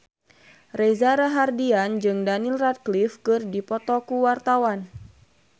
Reza Rahardian jeung Daniel Radcliffe keur dipoto ku wartawan